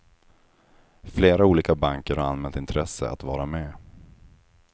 Flera olika banker har anmält intresse att vara med.